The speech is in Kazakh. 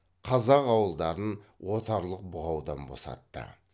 қазақ ауылдарын отарлық бұғаудан босатты